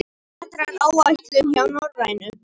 Vetraráætlun hjá Norrænu